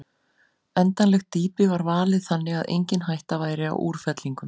Endanlegt dýpi var valið þannig að engin hætta væri á útfellingum.